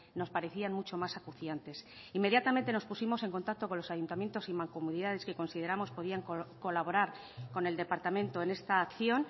nos parecían mucho más acuciantes inmediatamente nos pusimos en contacto con los ayuntamientos y mancomunidades que consideramos podían colaborar con el departamento en esta acción